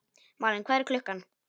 Malen, hvað er klukkan?